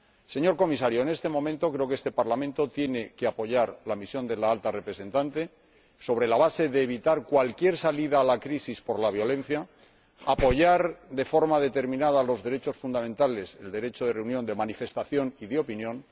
Señor Comisario, en este momento creo que este Parlamento tiene que apoyar la misión de la Alta Representante sobre la base de evitar cualquier salida de la crisis por la violencia apoyar, de forma determinada, los derechos fundamentales, el derecho de reunión, de manifestación y de opinión